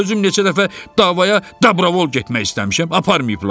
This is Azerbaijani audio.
Özüm neçə dəfə davaya dabravol getmək istəmişəm, aparmayıblar.